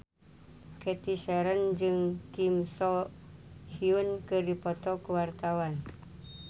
Cathy Sharon jeung Kim So Hyun keur dipoto ku wartawan